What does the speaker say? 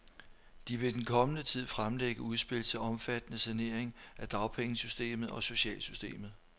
De vil i den kommende tid fremlægge udspil til omfattende saneringer af dagpengesystemet og socialsystemet.